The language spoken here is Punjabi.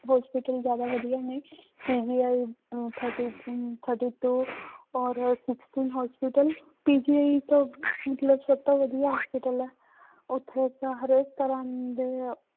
Hospital ਜ਼ਿਆਦਾ ਵਧੀਆ ਨੇ uh thirty um thirty two ਔਰ sixty hospital PGI ਤਾਂ ਮਤਲਬ ਸਭ ਤੋਂ ਵਧੀਆ hospital ਹੈ ਉੱਥੇ ਤਾਂ ਹਰੇਕ ਤਰ੍ਹਾਂ ਦੇ